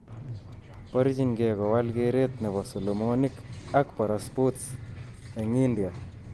Borchinkee kowal kereet nebo solomonik ak para- sports eng' India.